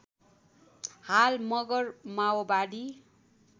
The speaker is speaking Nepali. हाल मगर माओवादी